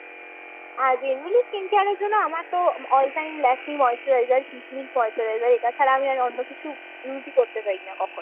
আ generally skin care র জন্য আমার তো all time Lakme moisturizer , moisturizer এটা ছাড়া র অন্য কিছু আমি use ই করতে পারিনা কখনো।